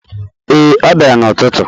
Ee, ọ bịara n’ụtụtụ.